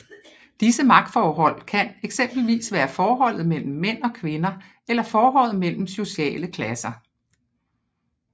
Disse magtforhold kan eksempelvis være forholdet mellem mænd og kvinder eller forholdet mellem sociale klasser